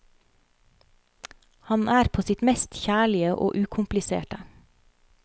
Han er på sitt mest kjærlige og ukompliserte.